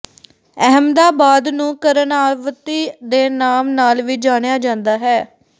ਅਹਿਮਦਾਬਾਦ ਨੂੰ ਕਰਣਾਵਤੀ ਦੇ ਨਾਮ ਨਾਲ ਵੀ ਜਾਣਿਆ ਜਾਂਦਾ ਹੈ